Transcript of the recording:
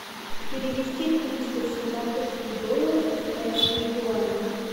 перевести триста сингапурских долларов в китайские юани